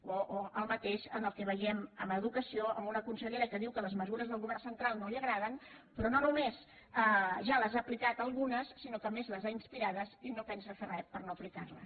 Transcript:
o el mateix que veiem en educació amb una consellera que diu que les mesures del govern central no li agraden però no només ja les ha aplicades algunes sinó que a més les ha inspirades i no pensa fer res per no aplicar les